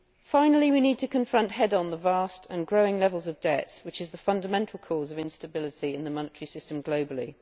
Finally we need to confront head on the vast and growing levels of debt which are the fundamental cause of instability in the monetary system globally.